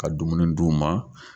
Ka dumuni di u ma.